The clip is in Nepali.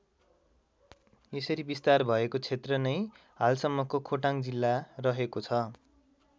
यसरी विस्तार भएको क्षेत्र नै हालसम्मको खोटाङ जिल्ला रहेको छ।